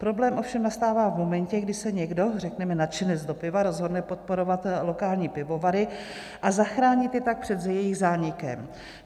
Problém ovšem nastává v momentě, kdy se někdo, řekněme, nadšenec do piva rozhodne podporovat lokální pivovary a zachránit je tak před jejich zánikem.